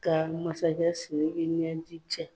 Ka masakɛ Siriki ɲɛji cɛ.